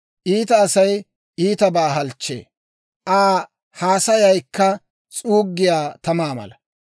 Iita Asay iitabaa halchchee; Aa haasayaykka s'uuggiyaa tamaa mala.